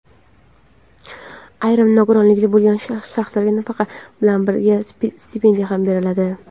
Ayrim nogironligi bo‘lgan shaxslarga nafaqa bilan birga stipendiya ham beriladi.